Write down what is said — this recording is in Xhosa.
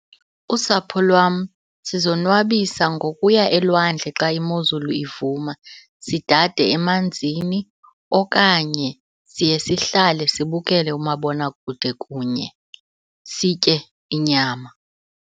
Usapho lwam, sizonwabisa ngokuya elwandle xa imozulu ivuma, sidade emanzini okanye siye sihlale sibukele umabonakude kunye, sitye inyama.